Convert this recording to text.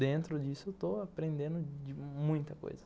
Dentro disso, estou aprendendo de... muita coisa.